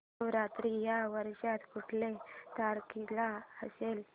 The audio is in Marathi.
नवरात्र या वर्षी कुठल्या तारखेला असेल